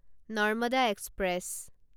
Narmada express